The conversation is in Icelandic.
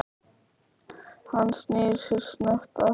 Hann snýr sér snöggt að henni.